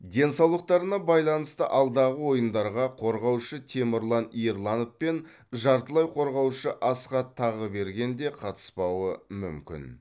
денсаулықтарына байланысты алдағы ойындарға қорғаушы темірлан ерланов пен жартылай қорғаушы асхат тағыберген де қатыспауы мүмкін